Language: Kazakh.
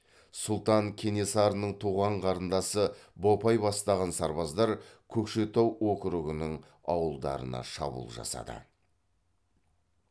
сұлтан кенесарының туған қарындасы бопай бастаған сарбаздар көкшетау округының ауылдарына шабуыл жасады